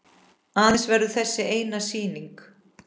Aðeins verður þessi eina sýning.